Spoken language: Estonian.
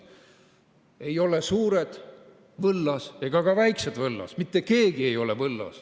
Ei ole ei suured võllas ega ka väiksed võllas, mitte keegi ei ole võllas.